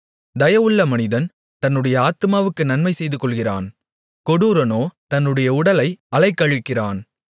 தயவுள்ள மனிதன் தன்னுடைய ஆத்துமாவுக்கு நன்மை செய்துகொள்ளுகிறான் கொடூரனோ தன்னுடைய உடலை அலைக்கழிக்கிறான்